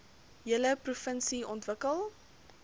hele provinsie ontwikkel